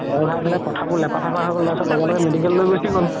ভয় খাই পেলে কথাবোৰ লেপা থেপা হয় গ'ল তাৰ পিছত লগা লগে medical লয় গুচি গ'ল